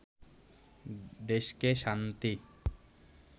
দেশকে শান্তি